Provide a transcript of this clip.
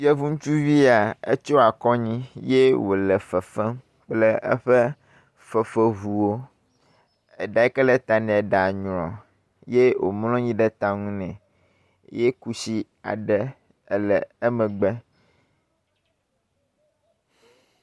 Yevu ŋutsuvi ya etsɔ akɔ anyi ye wo le fefem kple eƒe fefeŋuwo. Eɖa yi ke le ta nea eɖa nyrɔ ye womlɔ anyi ɖe ta nɛ ye kusi le emegbe.